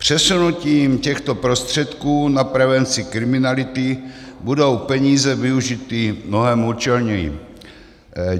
Přesunutím těchto prostředků na prevenci kriminality budou peníze využity mnohem účelněji.